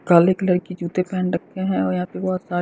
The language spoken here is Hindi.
काले कलर की जूते पहन रखे हैं और यहाँ पे बहुत सा--